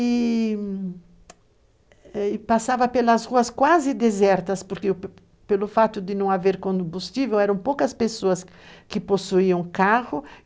E passava pelas ruas quase desertas, porque, pelo fato de não haver combustível, eram poucas pessoas que possuíam carro.